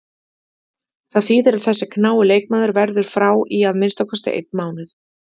Það þýðir að þessi knái leikmaður verður frá í að minnsta kosti einn mánuð.